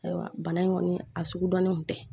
Ayiwa bana in kɔni a sugu dɔnnen tɛ